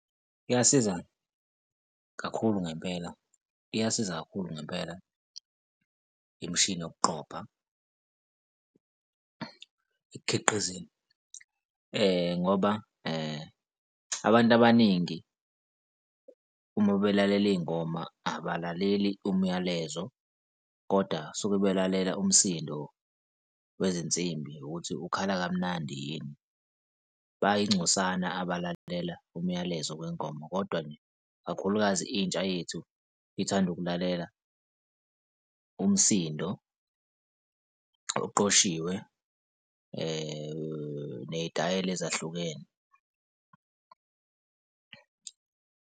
Iyasiza kakhulu ngempela, iyasiza kakhulu ngempela imishini yokuqopha ekukhiqizeni ngoba, abantu abaningi uma belalela iy'ngoma abalaleli umyalezo kodwa suke belalela umsindo wezinsimbi ukuthi ukhala kamnandi yini? Bayingcosana abalalela umyalezo wengoma, kodwa nje ikakhulukazi intsha yethu ithanda ukulalela umsindo oqoshiwe ney'tayela ezahlukene.